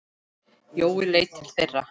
Jói leit til þeirra.